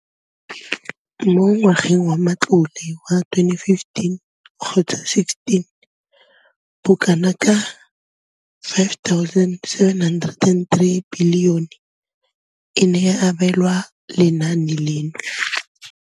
Mo ngwageng wa matlole wa 2015 gotsa 16, bokanaka 5 703 bilione e ne ya abelwa lenaane leno.